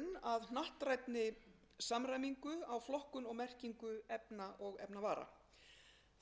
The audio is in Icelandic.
að hnattrænni samræmingu á flokkun og merkingu efna og efnavara